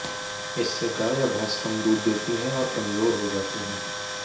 इससे गाय या भैंस कम दूध देती है और कमजोर हो जाती हैं